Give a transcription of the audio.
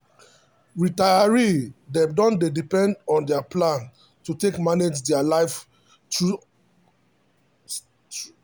retiree dem dey depend on their plan to take manage their life through old age.